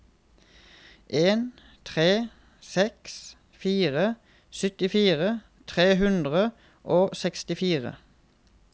en tre seks fire syttifire tre hundre og sekstifire